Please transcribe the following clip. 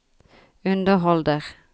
underholder